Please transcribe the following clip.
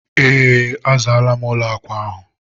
ee, azaala m ụlọ akwa ahụ.